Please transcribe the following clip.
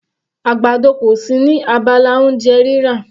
Àgbàdo kò sí ní abala oúnjẹ rírà.